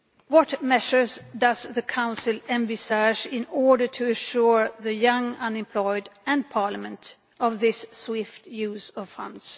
What measures does the Council envisage in order to assure the young unemployed, and Parliament, of this swift use of funds?